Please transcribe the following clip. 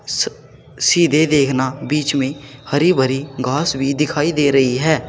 स सीधे देखना बीच में हरी भरी घास भी दिखाई दे रही है।